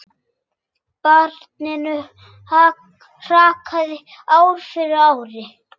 Barninu hrakaði ár frá ári.